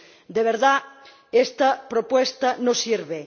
De verdad, esta propuesta no sirve.